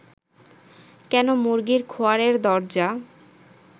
কেন মুরগির খোঁয়ারের দরজা